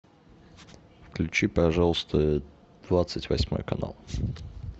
включи пожалуйста двадцать восьмой канал